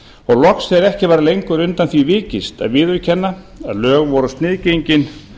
og loks þegar ekki varð lengur undan því vikist að viðurkenna að lög voru sniðgengin